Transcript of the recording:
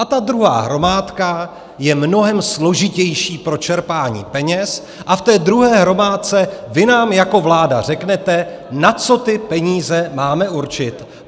A ta druhá hromádka je mnohem složitější pro čerpání peněz a v té druhé hromádce vy nám jako vláda řeknete, na co ty peníze máme určit.